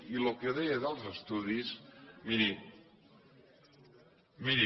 i el que deia dels estudis miri